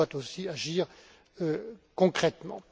elle doit aussi agir concrètement.